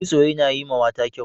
Kitso yana yiwa mata kyau.